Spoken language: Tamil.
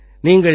நீங்கள் G20